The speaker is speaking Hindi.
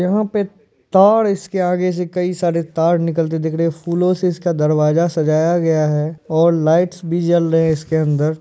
यहां पे तार इसके आगे से कई सारे तार निकलते दिख रहे है फूलो से इसका दरवाजा सजाया गया है और लाइट्स भी जल रहे है इसके अंदर।